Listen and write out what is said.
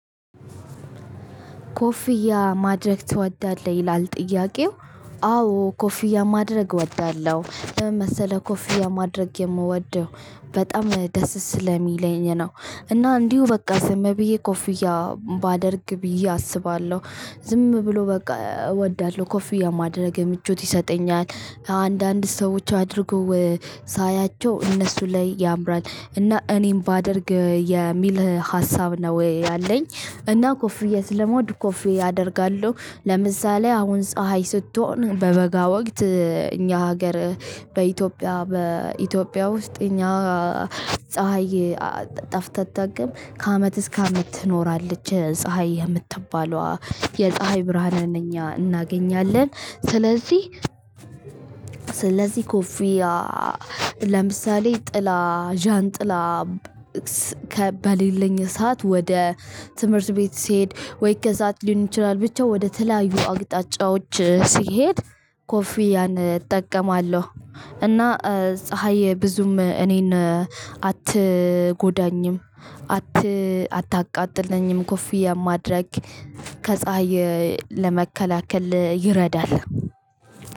ኮፍያ ማድረግ ትወዳለህ ይላል? ጥያቄው አዎ ኮፍያ ማድረግ እወዳለሁ ለምን መሰለህ ኮፊያ ማድረግ የምወደው በጣም ደስ ስለሚለኝ ነው። እና እንዲሁ በቃ ዝም ብዬ ኮፍያ ባደርግ ብዬ አስባለሁ። ዝም ብሎ በቃ እወዳለሁ ኮፊ የማድረግ ምቾት ይሰጠኛል። አንዳንድ ሰዎች አድርገው ሳያቸው እነሱ ላይ ያምራል እና እኔም ባደርግ የሚል ሀሳብ ነው ወይ ያለኝ። እና ኮፍዬ ለመውድ ኮፍየት ያደርጋሉ ለምሳሌ አሁን ፀሀይ ስትሆን በበጋ ወቅት እኛ ሀገር በኢትዮጵያ በኢትዮጵያ ውስጥ እኛ ፀሀይ ጠፍታ ትጠቀም ከአመት እስከ አመት ትኖራለች ፀሀይ የምትባለዋ የፀሀይ ብርሃንን እኛ እናገኛለን። ስለዚህ ስለዚህ ኮፍያ ለምሳሌ ጥላ ዣንጥላ በሌለኝ ሰዓት ወደ ትምህርት ቤት ስሄድ ወይ ከሰአት ሊሆን ይችላል ብቻው ወደ ተለያዩ አቅጣጫዎች ሲሄድ ኮፊያን እጠቀማለሁ። እና ፀሀይ ብዙም እኔን አትጎዳኝም። አት አታቃጥለኝም ኮፊያ ማድረግ ከፀሀይ ለመከላከል ይረዳል።